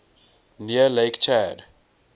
near lake chad